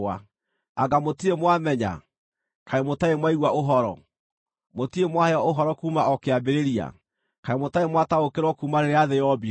Anga mũtirĩ mwamenya? Kaĩ mũtarĩ mwaigua ũhoro? Mũtirĩ mwaheo ũhoro kuuma o kĩambĩrĩria? Kaĩ mũtarĩ mwataũkĩrwo kuuma rĩrĩa thĩ yombirwo?